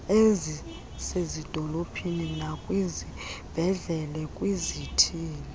ezisezidolophini nakwizibhedlele kwizithili